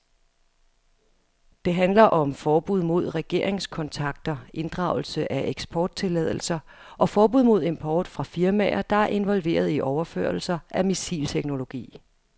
Det handler om forbud mod regeringskontakter, inddragelse af eksporttilladelser og forbud mod import fra firmaer, der er involveret i overførelser af missilteknologi.